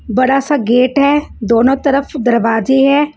बड़ा सा गेट है दोनों तरफ दरवाजे हैं।